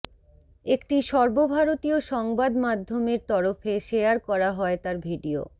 একটি সর্বভারতীয় সংবাদ মাধ্য়মের তরফে শেয়ার করা হয় তার ভিডিও